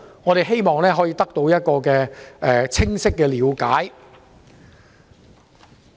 我們希望可以得到一個清晰的了解。